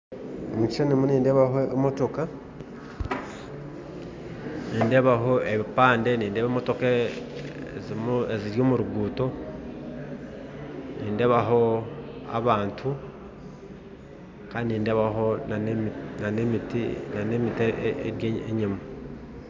Omu kishashani nindeebamu emotoka, ebipande hamwe n'emotoka eziri omu ruguuto, nindeebamu abantu kandi nindeebamu n'emiti eri enyima